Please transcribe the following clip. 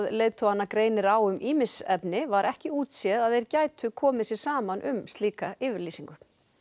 leiðtogana greinir á um ýmis efni var ekki útséð að þeir gætu komið sér saman um slíka yfirlýsingu